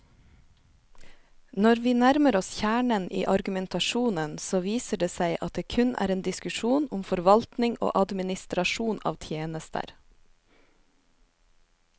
Når vi nærmer oss kjernen i argumentasjonen, så viser det seg at det kun er en diskusjon om forvaltning og administrasjon av tjenester.